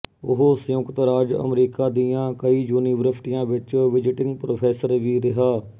ਉਹ ਸੰਯੁਕਤ ਰਾਜ ਅਮਰੀਕਾ ਦੀਆਂ ਕਈ ਯੂਨੀਵਰਸਿਟੀਆਂ ਵਿੱਚ ਵਿਜ਼ਟਿੰਗ ਪ੍ਰੋਫੈਸਰ ਵੀ ਰਿਹਾ